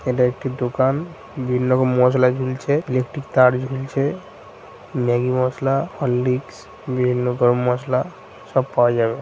এটা একটি দোকান বিল লগে মসলা ঝুলছে ইলেকট্রিক তার ঝুলছে ম্যাগি মসলাহরলিসক বিভিন্ন গরম মসলা সব পাওয়া যাবে ।